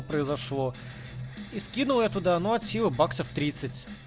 произошло и скинул я туда но от силы баксов тридцать